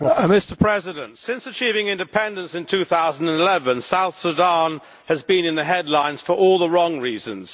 Mr President, since achieving independence in 2011, South Sudan has been in the headlines for all the wrong reasons.